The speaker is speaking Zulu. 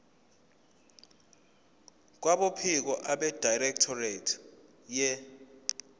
kwabophiko abedirectorate ye